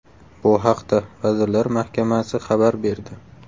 Bu haqda Vazirlar Mahkamasi xabar berdi.